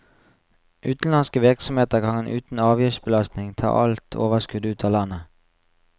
Utenlandske virksomheter kan uten avgiftsbelastning ta alt overskudd ut av landet.